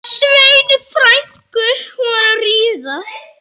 Sveinu frænku.